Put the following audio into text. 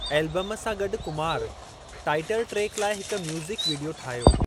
Album सां गॾु Kumar title track लाइ हिकु म्यूज़िक विडियो ठाहियो।